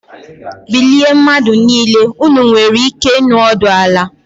Bilie mmadụ niile!! Ụnụ nwere ike ịnọdụ ala